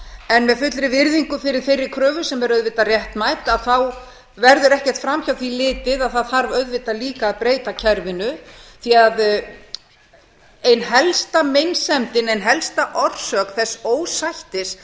en með fullri virðingu fyrir þeirri kröfu sem er auðvitað réttmæt verður ekkert fram hjá því litið að það þarf auðvitað líka að breyta kerfinu því ein helsta meinsemdin ein helsta orsök þess ósættis